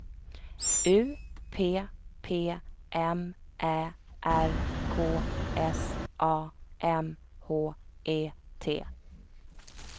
U P P M Ä R K S A M H E T